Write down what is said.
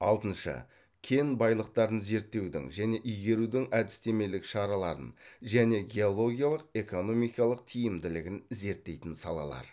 алтыншы кен байлықтарын зерттеудің және игерудің әдістемелік шараларын және геологиялық экономикалық тиімділігін зерттейтін салалар